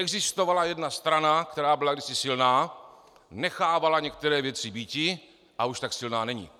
Existovala jedna strana, která byla kdysi silná, nechávala některé věci býti a už tak silná není.